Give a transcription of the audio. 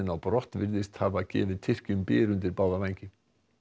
á brott virðist hafa gefið Tyrkjum byr undir báða vængi